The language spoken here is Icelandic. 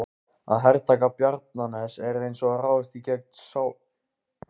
Í botni apalhrauna eru af þessum sökum venjulega þunn gjalllög.